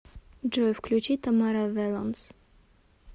джой включи тамара велонс